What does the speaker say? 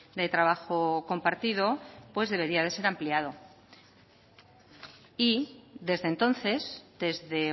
de trabajo compartido pues debería de ser ampliado y desde entonces desde